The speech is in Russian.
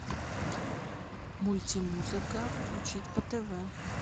мульти музыка включить по тв